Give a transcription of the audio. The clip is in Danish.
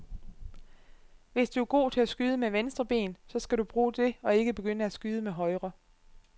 Hvis du er god til at skyde med venstre ben, så skal du bruge det og ikke begynde at skyde med højre.